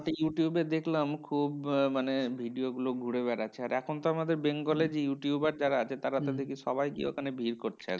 ওটি ইউটিউবে দেখলাম খুব মানে video গুলো ঘুরে বেড়াচ্ছে। আর এখন তো আমাদের bengal এর যে ইউটিউবার যারা আছে, তারা তাদেরকে সবাই গিয়ে ওখানে ভিড় করছে আরকি।